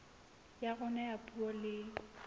ya rona ya puo le